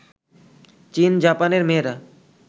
চিন জাপানের মেয়েরা